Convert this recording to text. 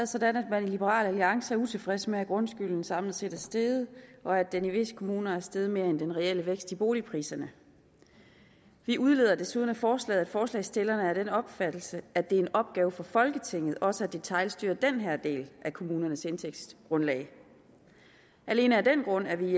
sådan at liberal alliance er utilfreds med at grundskylden samlet set er steget og at den i visse kommuner er steget mere end den reelle vækst i boligpriserne vi udleder desuden af forslaget at forslagsstillerne er af den opfattelse at det er en opgave for folketinget også at detailstyre den her del af kommunernes indtægtsgrundlag alene af den grund er vi